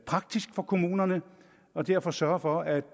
praktisk for kommunerne og derfor sørge for at